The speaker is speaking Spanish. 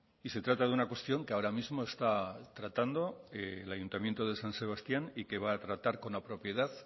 y se trata de una cuestión que ahora mismo está tratando el ayuntamiento de san sebastián y que va a tratar con la propiedad